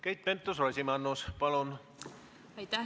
Keit Pentus-Rosimannus, palun!